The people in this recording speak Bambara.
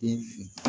Den fin